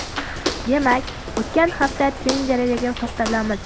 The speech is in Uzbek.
Demak, o‘tgan hafta trendlariga to‘xtalamiz.